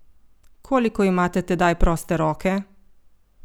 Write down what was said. Koliko imate tedaj proste roke?